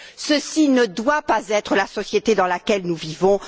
Cela ne doit pas être la société dans laquelle nous vivons.